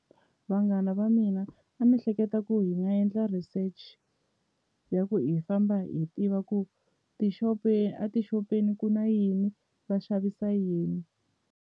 Vanghana va mina a ni hleketa ku hi nga endla research ya ku hi famba hi tiva ku tixopeni a tixopeni ku na yini va xavisa yini.